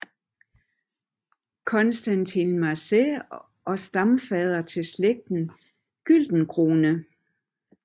Constantin Marselis og stamfader til slægten Güldencrone